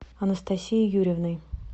анастасией юрьевной